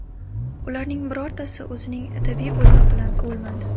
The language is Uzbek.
Ularning birortasi o‘zining tabiiy o‘limi bilan o‘lmadi.